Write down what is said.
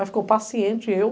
Aí ficou o paciente e eu.